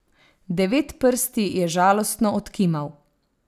Devetprsti je žalostno odkimal.